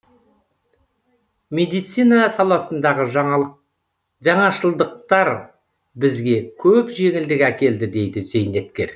медицина саласындағы жаңашылдықтар бізге көп жеңілдік әкелді дейді зейнеткер